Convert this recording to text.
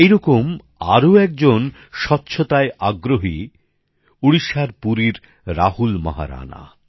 এই রকম আরো একজন স্বচ্ছতাগ্রহী উড়িষ্যার পুরীর রাহুল মহারাণা